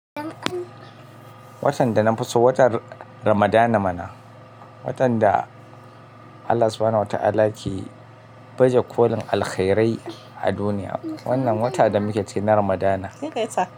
Watan da na fi so watan Ramadana mana. Watan da Allah Subuhana huwa Ta'ala yake baje kolin alkhairai a duniya. Wannan wata da muke ce na Ramadana.